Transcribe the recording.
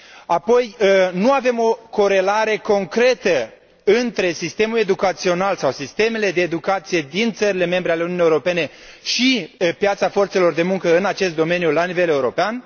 Apoi nu avem o corelare concretă între sistemul educațional sau sistemele de educație din țările membre ale Uniunii Europene și piața forțelor de muncă în acest domeniu la nivel european.